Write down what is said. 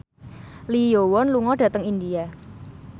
Lee Yo Won lunga dhateng India